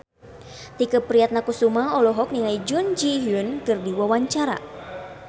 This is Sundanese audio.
Tike Priatnakusuma olohok ningali Jun Ji Hyun keur diwawancara